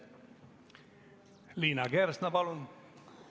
Liina Kersna, palun!